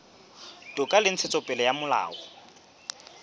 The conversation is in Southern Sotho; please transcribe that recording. toka le ntshetsopele ya molao